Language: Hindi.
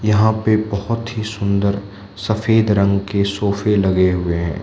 यहां पे बहोत ही सुंदर सफेद रंग के सोफे लगे हुए हैं।